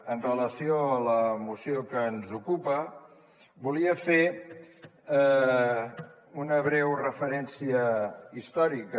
amb relació a la moció que ens ocupa volia fer una breu referència històrica